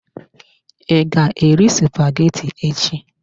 I ga-eri spaghetti echi?